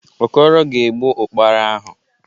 Okoro ga-egbu Ụ́kpara ahụ.